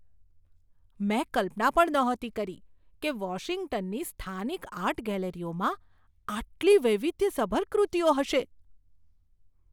મેં કલ્પના પણ નહોતી કરી કે વોશિંગ્ટનની સ્થાનિક આર્ટ ગેલેરીઓમાં આટલી વૈવિધ્યસભર કૃતિઓ હશે.